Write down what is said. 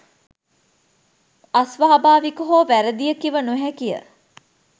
අස්වාභාවික හෝ වැරදිය කිව නොහැකිය.